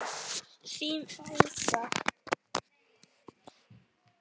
Þín Alda